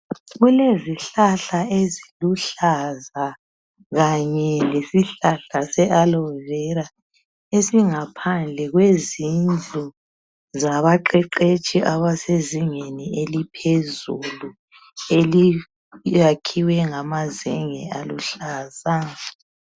Kulezihlala eziluhlaza kanye lesihlahla se alovera esingaphandle kwezindlu zabaqeqetshi abasezingeni eliphezulu. Eliyakhiwe ngama zenge aluhlaza.